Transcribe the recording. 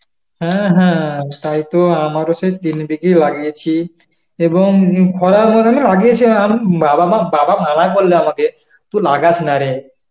হ্যাঁ হ্যাঁ তাইতো আমারও সেই দিন দেখেই লাগিয়েছি এবং উম খরার হলো না লাগিয়েছিলাম বাবা মা, বাবা মানা করল আমাকে তু লাগাস নারে